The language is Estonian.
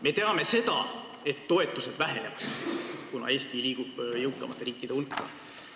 Me teame seda, et toetused vähenevad, kuna Eesti liigub jõukamate riikide hulka.